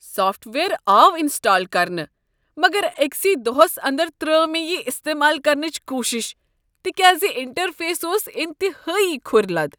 Soft ware آو install کرنہٕ مگر أکسٕے دۄہس اندر ترٲو مےٚ یہ استعمال کرنٕچ کوٗشش تکیاز انٹرفیس اوس انتہٲیی كھُرۍ لد ۔